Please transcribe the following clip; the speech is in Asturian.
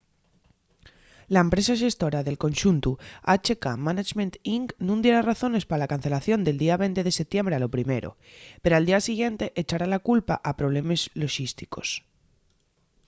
la empresa xestora del conxuntu hk management inc nun diera razones pa la cancelación del día 20 de setiembre a lo primero pero al día siguiente echara la culpa a problemes loxísticos